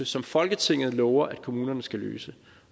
som folketinget lover at kommunerne skal løse